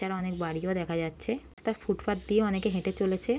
এখানে অনেক বাড়ি ও দেখা যাচ্ছে তা ফুটপাথ দিয়ে অনেকে হেঁটে চলেছে।